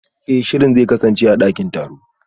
Eh shirin zai kasance a dakin taro